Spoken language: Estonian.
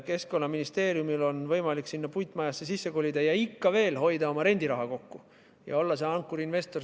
Keskkonnaministeeriumil on võimalik uude puitmajasse sisse kolida, rendiraha kokku hoida ja olla see ankurinvestor.